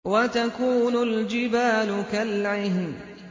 وَتَكُونُ الْجِبَالُ كَالْعِهْنِ